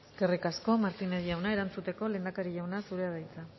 eskerrik asko martínez jauna erantzuteko lehendakari jauna zurea da hitza